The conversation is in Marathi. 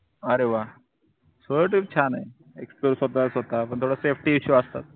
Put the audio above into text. अरे वाह solo trip छानए explore स्वतः स्वतः पण थोड safety issue असतो